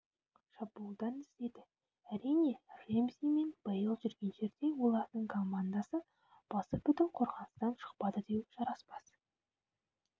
шабуылдан іздеді әрине ремзи мен бейл жүрген жерде олардың командасы басыбүтін қорғаныстан шықпады деу жараспас